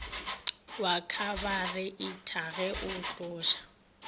wa khabareitha ge o tloša